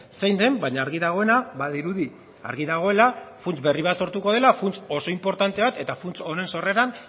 zein den baina argi dagoena badirudi argi dagoela funts berri bar sortuko dela funts oso inportante bat eta funts honen sorreran